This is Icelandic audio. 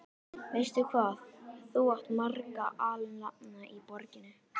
Veistu, hvað þú átt marga alnafna í borginni?